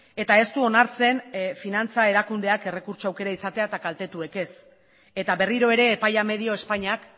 eta ez du onartzen finantza erakundeak errekurtso aukera izatea eta kaltetuek ez eta berriro ere epaia medio espainiak